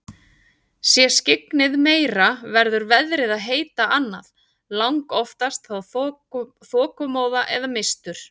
Sé skyggnið meira verður veðrið að heita annað, langoftast þá þokumóða eða mistur.